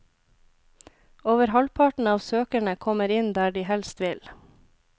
Over halvparten av søkerne kommer inn der de helst vil.